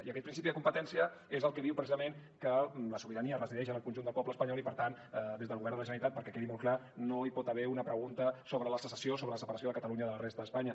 i aquest principi de competència és el que diu precisament que la sobirania resideix en el conjunt del poble espanyol i per tant des del govern de la generalitat perquè quedi molt clar no hi pot haver una pregunta sobre la secessió sobre la separació de catalunya de la resta d’espanya